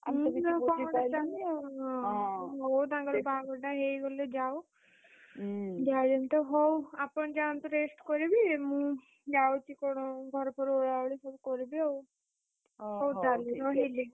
ହଉ ତାଙ୍କର ବାହାଘରଟା ହେଇଗଲେ ଯାଉ, breath ହଉ ଆପଣ ଯାଆନ୍ତୁ rest କରିବେ ମୁଁ, ଯାଉଚି କଣ ଘର ଫର ଓଳାଓଳି ସବୁ କରିବି ଆଉ। ହଉ ତାହେଲେ ରହିଲି।